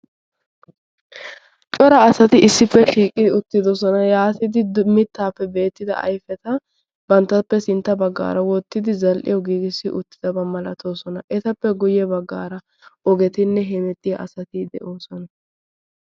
cora asati issippe shiiqi uttidosona yaatidi mittaappe beettida aifeta banttappe sintta baggaara woottidi zal"iyo giigissi uttidabaa malatoosona etappe guyye baggaara ogetinne hemettiya asatii de"oosona.